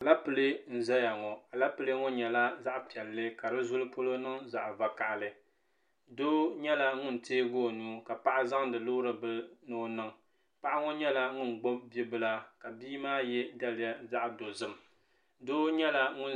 Alapilee n zaya ŋɔ Alapilee ŋɔ nyɛla zaɣa piɛlli ka di zuli polo niŋ zaɣa vakahali doo nyɛla ŋun teegi o nuu ka paɣa zaŋdi loori bila ni o no paɣa ŋɔ nyɛla ŋun gbibi bia bila ka bia maa ye daliya zaɣa dozim doo nyɛla ŋun.